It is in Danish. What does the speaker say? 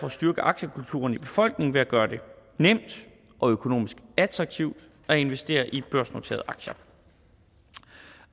at styrke aktiekulturen i befolkningen ved at gøre det nemt og økonomisk attraktivt at investere i børsnoterede aktier